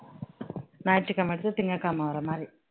ஞாயிற்றுக்கிழமை எடுத்து திங்கட்கிழமை வர மாதிரி